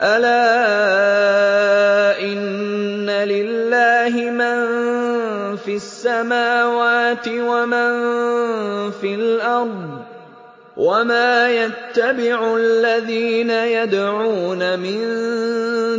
أَلَا إِنَّ لِلَّهِ مَن فِي السَّمَاوَاتِ وَمَن فِي الْأَرْضِ ۗ وَمَا يَتَّبِعُ الَّذِينَ يَدْعُونَ مِن